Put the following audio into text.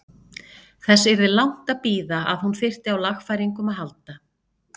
Þess yrði langt að bíða að hún þyrfti á lagfæringum að halda.